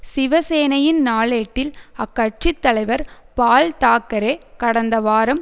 சிவ சேனையின் நாளேட்டில் அக்கட்சி தலைவர் பால் தாக்கரே கடந்த வாரம்